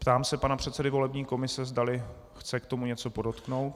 Ptám se pana předsedy volební komise, zdali chce k tomu něco podotknout.